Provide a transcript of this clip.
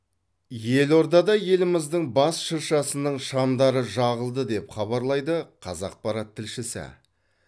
елордада еліміздің бас шыршасының шамдары жағылды деп хабарлайды қазақпарат тілшісі